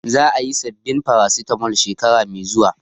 Za a yi sabbin Farasitamol shekara mai zuwa